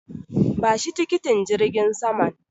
Bashi tikitin jirgin saman.